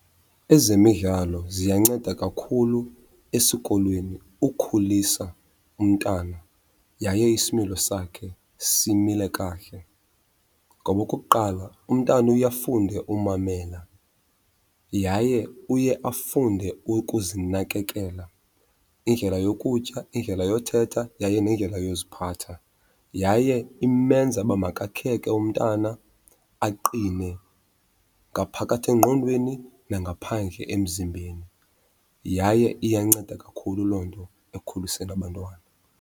Ezemidlalo ziyanceda kakhulu esikolweni ukhulisa umntana yaye isimilo sakhe simile kakuhle. Ngoba okokuqala umntana uye afunde umamela yaye uye afunde ukuzinakekela, indlela yokutya, indlela yothetha yaye nendlela yoziphatha. Yaye imenza uba makakheke umntana, aqine ngaphakathi engqondweni nangaphandle emzimbeni, yaye iyanceda kakhulu loo nto ekukhuliseni abantwana.